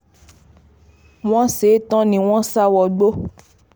wọ́n ṣe é tán ni wọ́n sá wọgbó